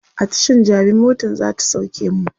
a Tashan jabi motan zata sauke mu